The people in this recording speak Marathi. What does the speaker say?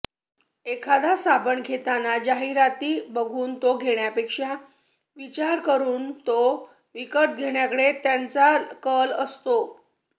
एखादा साबण घेताना जाहिराती बघून तो घेण्यापेक्षा विचार करून तो विकत घेण्याकडे त्यांचा कल असतो